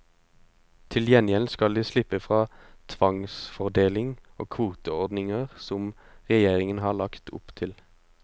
Til gjengjeld skal de slippe fra tvangsfordeling og kvoteordninger som regjeringen har lagt opp til.